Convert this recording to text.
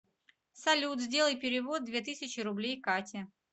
салют сделай перевод две тысячи рублей кате